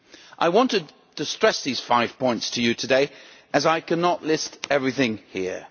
I wanted to stress these five points to you today as I cannot list everything here.